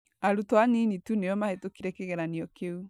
Arutwo anini tu nĩo mahĩtũkire kĩgeranio kĩu.